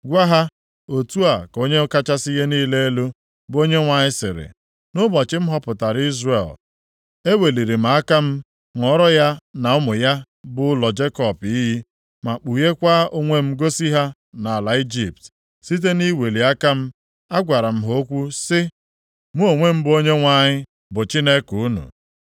Gwa ha, ‘Otu a ka Onye kachasị ihe niile elu, bụ Onyenwe anyị sịrị, nʼụbọchị m họpụtara Izrel, eweliri m aka m ṅụọrọ ya na ụmụ ya bụ ụlọ Jekọb iyi ma kpugheekwa onwe m gosi ha nʼala Ijipt. Site nʼiweli aka m, agwara m ha okwu sị, “Mụ onwe m bụ Onyenwe anyị bụ Chineke unu.”